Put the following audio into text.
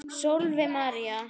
Sólveig María.